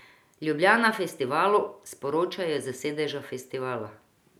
Ljubljana Festivalu, sporočajo s sedeža festivala.